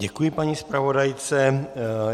Děkuji paní zpravodajce.